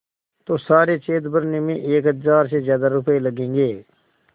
तो सारे छेद भरने में एक हज़ार से ज़्यादा रुपये लगेंगे